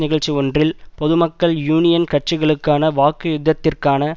நிகழ்ச்சி ஒன்றில் பொதுமக்கள் யூனியன் கட்சிகளுக்கான வாக்கு யுத்தத்திற்கான